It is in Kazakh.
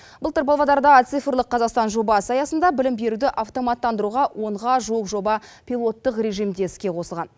былтыр павлодарда цифрлық қазақстан жобасы аясында білім беруді автоматтандыруға онға жуық жоба пилоттық режимде іске қосылған